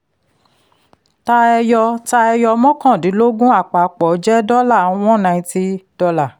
ta ẹyọ ta ẹyọ mọ́kàndínlógún àpapọ̀ jẹ́ dọ́là one ninety dollar [c]